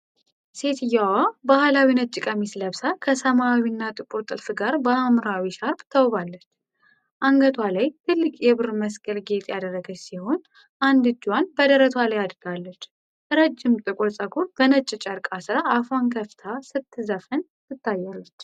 ሴትየዋ ባህላዊ ነጭ ቀሚስ ለብሳ፣ ከሰማያዊና ጥቁር ጥልፍ ጋር በሐምራዊ ሻርፕ ተውባለች። አንገቷ ላይ ትልቅ የብር መስቀል ጌጥ ያደረገች ሲሆን፣ አንድ እጇን በደረቷ ላይ አድርጋለች። ረጅም ጥቁር ፀጉሯን በነጭ ጨርቅ አስራ አፏን ከፍታ ስትዘፍን ትታያለች።